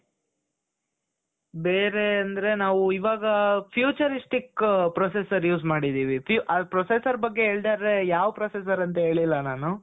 ಬೇರೆ ಅಂದ್ರೆ ನಾವು ಇವಾಗ futuristic processor use ಮಾಡಿದ್ದೀವಿ ಹರ್ಷಿತ್ ಆ processor ಬಗ್ಗೆ ಹೇಳಿದರೆ ಯಾವ್ processor ಅಂತ ಹೇಳಿಲ್ಲ ನಾನು.